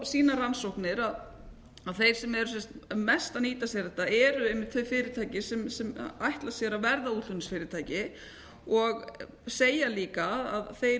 sýna rannsóknir að þeir sem eru mest að nýta sér þetta eru einmitt þau fyrirtæki sem ætla sér að verða útflutningsfyrirtæki og segja líka að þeir